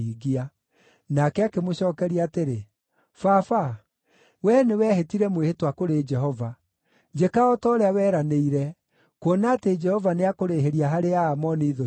Nake akĩmũcookeria atĩrĩ, “Baba, wee nĩweehĩtire mwĩhĩtwa kũrĩ Jehova. Njĩka o ta ũrĩa weranĩire, kuona atĩ Jehova nĩakũrĩhĩria harĩ Aamoni thũ ciaku.”